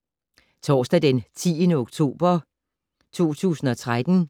Torsdag d. 10. oktober 2013